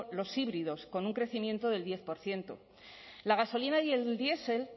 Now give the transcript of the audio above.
los híbridos con un crecimiento del diez por ciento la gasolina y diesel